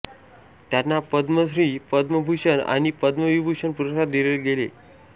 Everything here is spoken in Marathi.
त्यांना पद्मश्री पद्मभूषण आणि पद्मविभूषण पुरस्कार दिले गेले